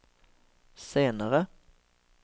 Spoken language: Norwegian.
senere